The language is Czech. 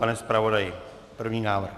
Pane zpravodaji, první návrh.